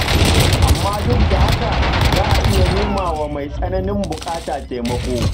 Amma duk da haka, za a iya nemawa mai tsananin buƙata taimako.